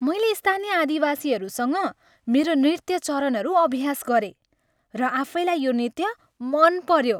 मैले स्थानीय आदिवासीहरूसँग मेरो नृत्य चरणहरू अभ्यास गरेँ र आफैलाई यो नृत्य मन पऱ्यो।